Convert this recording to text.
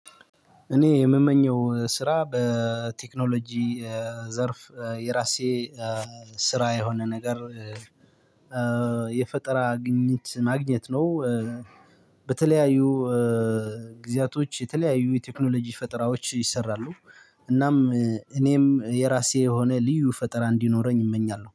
እኔ የምመኘው ስራ በ ቴክኖሎጂ ዘርፍ የራሴ ስራ የሆነ ነገር የፈጠራ ግኝት ማግኘት ነው። በተለያዩ ጊዜያቶች የተለያዩ የቴክኖሎጂ ፈጠራዎች ይሰራሉ። እናም እኔም የራሴ የሆነ ልዩ ፈጠራ እንዲኖረኝ እመኛለሁ